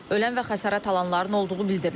Ölən və xəsarət alanların olduğu bildirilir.